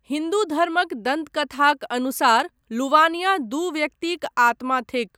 हिन्दू धर्मक दन्तकथाक अनुसार लुवानिया दू व्यक्तिक आत्मा थिक।